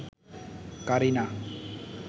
Kareena